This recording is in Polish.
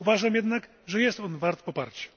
Uważam jednak, że jest on wart poparcia.